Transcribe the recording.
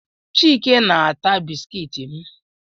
Chike na-ata bisikiiti m